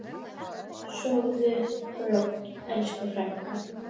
Sofðu rótt, elsku frænka.